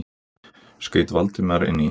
skaut Valdimar inn í.